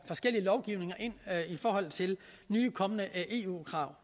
forskellige lovgivninger i forhold til nye kommende eu krav